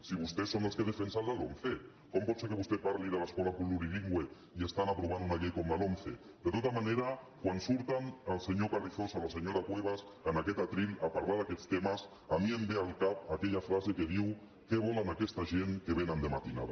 si vostès són els que defensen la lomce com pot ser que vostè parli de l’escola plurilingüe i estan aprovant una llei com la lomce de tota manera quan surten el senyor carrizosa o la senyora cuevas en aquest faristol a parlar d’aquests temes a mi em ve al cap aquella frase que diu què volen aquesta gent que vénen de matinada